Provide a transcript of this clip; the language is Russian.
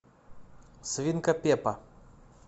свинка пеппа